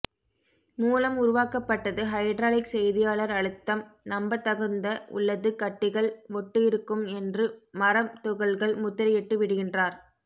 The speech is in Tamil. மூலம் உருவாக்கப்பட்டது ஹைட்ராலிக் செய்தியாளர் அழுத்தம் நம்பத்தகுந்த உள்ளது கட்டிகள் ஒட்டு இருக்கும் என்று மரம் துகள்கள் முத்திரையிட்டு விடுகின்றார்